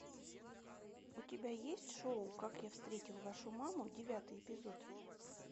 у тебя есть шоу как я встретил вашу маму девятый эпизод